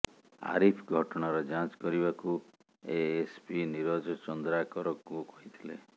ଆରିଫ ଘଟଣାର ଯାଞ୍ଚ କରିବାକୁ ଏଏସପି ନୀରଜ ଚନ୍ଦ୍ରାକରଙ୍କୁ କହିଥିଲେ